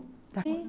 Sim.